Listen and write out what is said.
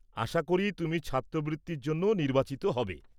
আশা করি তুমি ছাত্রবৃত্তির জন্য নির্বাচিত হবে।